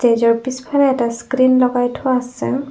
নিজৰ পিছফালে এটা স্ক্ৰীন লগাই থোৱা আছে।